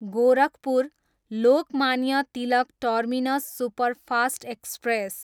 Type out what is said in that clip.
Gorakhpur, Lokmanya Tilak terminus superfast express